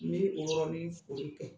N be o yɔrɔnin foli kɛ.